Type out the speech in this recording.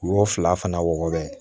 U y'o fila fana wɔgɔbɛ